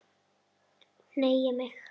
Hneigi mig.